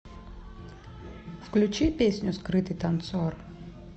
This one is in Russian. включи песню скрытый танцор